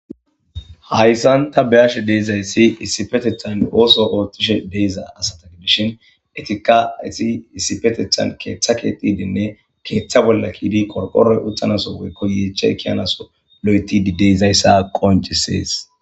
hayssan ta beyashe deezayssi issipetethan ooso oothtishe deeza asata gidishin etika esi isifetethan keeththa keetidinne keeththa bolla kiidi qorqoroy uthanaso weykkoyeeche kiyanaso lo7etidi deezayssa qoncisees